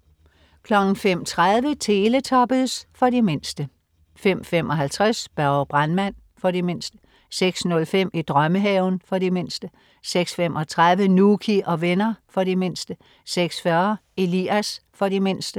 05.30 Teletubbies. For de mindste 05.55 Børge brandmand. For de mindste 06.05 I drømmehaven. For de mindste 06.35 Nouky og venner. For de mindste 06.40 Elias. For de mindste